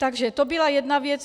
Takže to byla jedna věc.